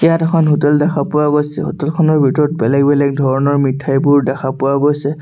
ইয়াত এখন হোটেল দেখা পোৱা গৈছে হোটেল খনৰ ভিতৰত বেলেগ বেলেগ ধৰণৰ মিঠাইবোৰ দেখা পোৱা গৈছে।